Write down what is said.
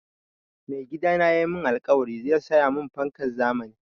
Mai gidana ya mun alkawari zai saya mun fankan zamani